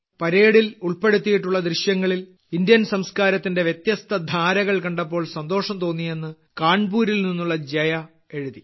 പരേഡിൽ ഉൾപ്പെടുത്തിയിട്ടുള്ള ദൃശ്യങ്ങളിൽ ഇന്ത്യൻ സംസ്കാരത്തിന്റെ വ്യത്യസ്ത ധാരകൾ കണ്ടപ്പോൾ സന്തോഷം തോന്നിയെന്ന് കാൺപൂരിൽനിന്നുള്ള ജയ എഴുതി